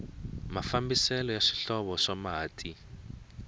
mafambiselo ya swihlovo swa mati